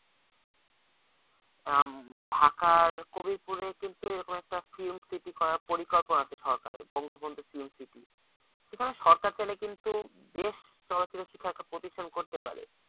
আহ ঢাকার কবিরপুরে কিন্তু এরকম একটা film city করার পরিকল্পনা আছে সরকারের film city সেখানে সরকার চাইলে কিন্তু best চলচ্চিত্র শিক্ষার একটা প্রতিষ্ঠান করতে পারে